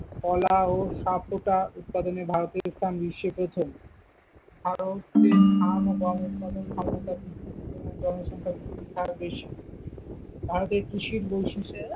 কলা ও সাবকোটা উৎপাদনে ভারতের স্থান বিশ্বে প্রথম, ভারতের ধান ও গম উৎপাদন ক্ষমতা বৃদ্ধির জন্য জনসংখ্যা বৃদ্ধির হার বেশি, ভারতের কৃষির বৈশিষ্ট্য।